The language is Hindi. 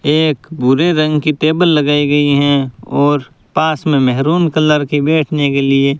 एक भूरे रंग की टेबल लगाई गई हैं और पास में मेहरून कलर की बैठने के लिए --